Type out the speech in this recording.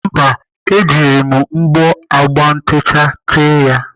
Mba, ejiri m ogbo agba ntecha tee ya.